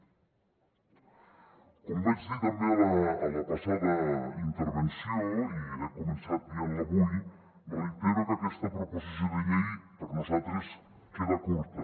com vaig dir també a la passada intervenció i he començat dient ho avui reitero que aquesta proposició de llei per nosaltres queda curta